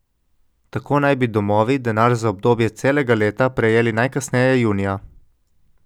Tako naj bi domovi denar za obdobje celega leta prejeli najkasneje junija.